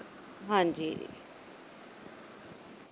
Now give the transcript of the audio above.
ਹਾਂਜੀ।